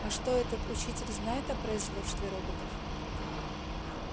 а что этот учитель знает о производстве роботов